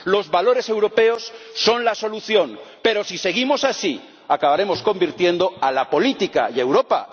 Los valores europeos son la solución, pero si seguimos así, acabaremos convirtiendo a la política y a Europa